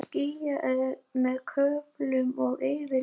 Skýjað með köflum og yfirleitt þurrt